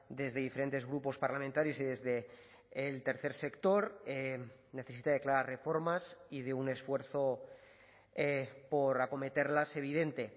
desde diferentes grupos parlamentarios y desde el tercer sector necesita declarar reformas y de un esfuerzo por acometerlas evidente